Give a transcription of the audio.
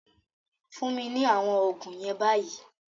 Fún mi ní àwọn oògùn yen bayi